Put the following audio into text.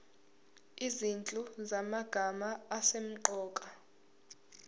izinhlu zamagama asemqoka